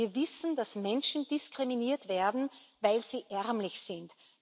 Wir wissen, dass Menschen diskriminiert werden, weil sie arm sind.